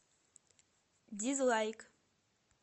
дизлайк